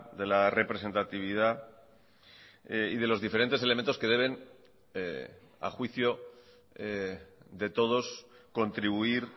de la representatividad y de los diferentes elementos que deben a juicio de todos contribuir